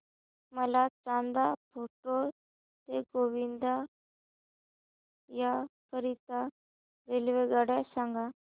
मला चांदा फोर्ट ते गोंदिया करीता रेल्वेगाडी सांगा